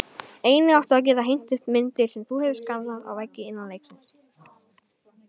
Einnig áttu að geta hengt upp myndir, sem þú hefur skannað, á veggi innan leiksins.